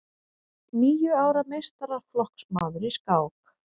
Níu ára meistaraflokksmaður í skák